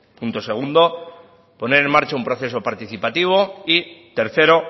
punto segundo poner en marcha un proceso participativo y tercero